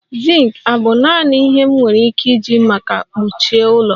Zink abụ naanị ihe m nwere ike iji maka mkpuchi ụlọ?